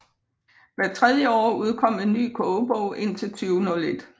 Hvert tredje år udkom en ny kogebog indtil 2001